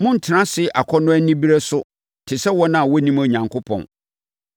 Monntena ase akɔnnɔ anibereɛ so te sɛ wɔn a wɔnnim Onyankopɔn.